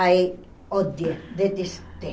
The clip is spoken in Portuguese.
Aí, odiei, detestei.